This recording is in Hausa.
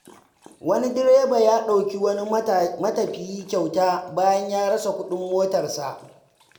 Wani direba ya dauki wani matafiyi kyauta bayan ya rasa kuɗin motarsa.